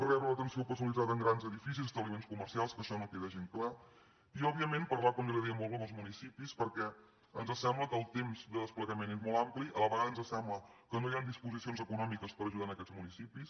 rebre l’atenció personalitzada en grans edificis establiments comercials que això no queda gens clar i òbviament parlar com ja li dèiem molt amb els municipis perquè ens sembla que el temps de desplegament és molt ampli a la vegada ens sembla que no hi han disposicions econòmiques per ajudar aquests municipis